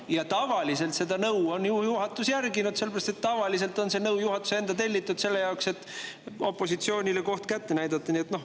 Ja juhatus on seda nõu järginud, sellepärast et tavaliselt on see nõu olnud juhatuse enda tellitud selle jaoks, et opositsioonile koht kätte näidata.